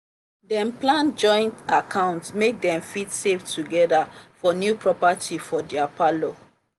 dem plan joint account make dem fit save together for new property for their parlour.